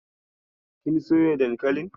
Kin soya dankalin?